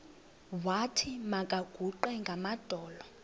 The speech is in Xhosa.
wathi makaguqe ngamadolo